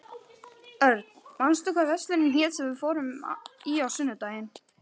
Örn, manstu hvað verslunin hét sem við fórum í á sunnudaginn?